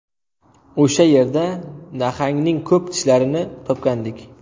O‘sha yerda nahangning ko‘p tishlarini topgandik.